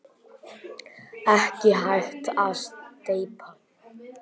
Ekki hægt að steypa.